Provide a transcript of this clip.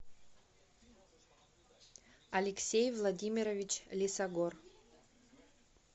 алексей владимирович лесогор